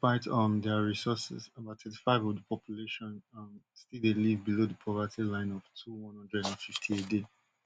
despite um dia resources about thirty-five of di population um still dey live below di poverty line of two one hundred and fifty a day